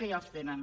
que ja els tenen